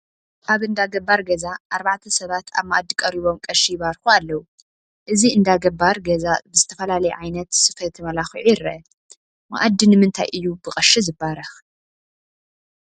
አብ እንዳገባር ገዛ አርባዕተ ሰባት አብ መአዲ ቀሪቦም ቀሺ ይባርኩ አለው፡፡ እዚ እንዳ ገባር ገዛ ብዝተፈላለየ ዓይነት ስፈ ተመላኪዑ ይርአ፡፡ መአዲ ንምንታይ እዩ ብቐሺ ዝባረኽ?